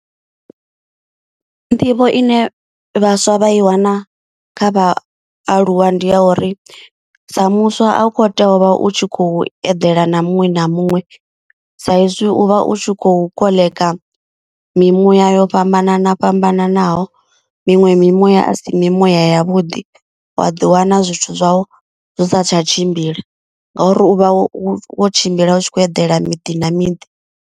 Nḓivho ine vhaswa vha i wana kha vha aluwa ndi ya uri sa muswa a u kho tea u vha u tshi khou eḓela na muṅwe na muṅwe. Sa izwi u vha u tshi khou koḽeka mimuya yo fhambanana fhambananaho. Miṅwe mimuya a si mimuya yavhuḓi wa ḓiwana zwithu zwau zwi sa tsha tshimbila ngauri u vha wo tshimbila u tshi khou eḓela miḓi na miḓi.